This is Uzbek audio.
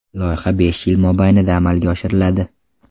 Loyiha besh yil mobaynida amalga oshiriladi.